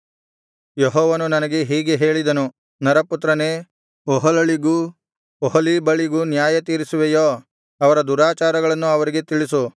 ಯೆಹೋವನು ನನಗೆ ಹೀಗೆ ಹೇಳಿದನು ನರಪುತ್ರನೇ ಒಹೊಲಳಿಗೂ ಒಹೊಲೀಬಳಿಗೂ ನ್ಯಾಯತೀರುಸುವೆಯೋ ಅವರ ದುರಾಚಾರಗಳನ್ನು ಅವರಿಗೆ ತಿಳಿಸು